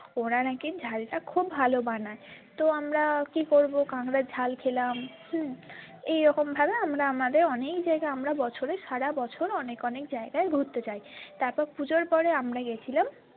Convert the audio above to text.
ওরা নাকি ঝালটা খুব ভালো বানাই তো আমরা কি করবো কাঁকড়ার ঝাল খেলাম হম এইরকম ভাবে আমরা আমাদের অনেক জায়গায় আমরা বছরে সারা বছর অনেক অনেক জায়গায় ঘুরতে যায় তারপর পুজোর পরে আমরা গেছিলাম।